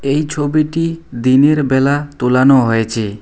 এই ছবিটি দিনের বেলা তোলানো হয়েছে।